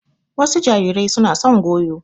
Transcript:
Wasu jarirai suna son goyo.